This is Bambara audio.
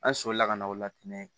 An solila ka na o latigɛ